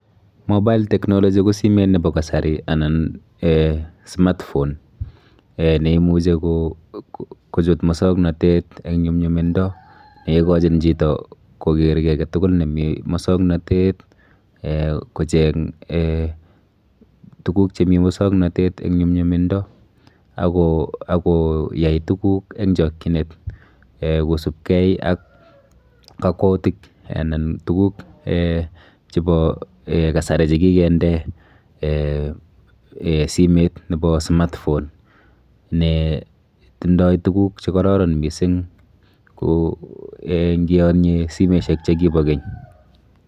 [c]Mobile technology ko simet nepo kasari anan eh smartphone eh neimuchi kochut musoknotet eng nyumnyumindo neikochin chito koker kiy aketukul nemi musoknotet eh kocheng eh tuguk chemi musoknotet eng nyumnyumindo, akoyai tuguk eng chokchinet eh kosubkei ak kakwoutik anan tuguk eh chepo kasari chekikende eh simet nepo smartphone netindoi tuguk chekororon mising nkiyonye simeshek chepo keny.